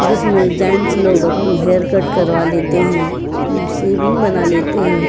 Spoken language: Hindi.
जिसमें जेंट्स लोग अपने हेयर कट करवा लेते हैं। उम्म सेविंग बना लेते हैं।